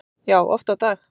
Já, oft á dag